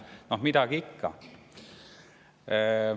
Aga noh, midagi ikka.